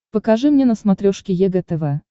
покажи мне на смотрешке егэ тв